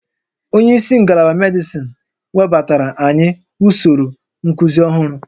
Onye isi ngalaba medịsịn webatara anyị usoro nkuzi ọhụrụ